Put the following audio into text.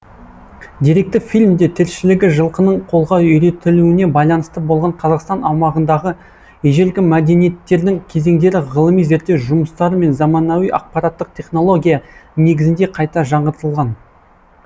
деректі фильмде тіршілігі жылқының қолға үйретілуіне байланысты болған қазақстан аумағындағы ежелгі мәдениеттердің кезеңдері ғылыми зерттеу жұмыстары мен заманауи ақпараттық технология негізінде қайта жаңғыртылған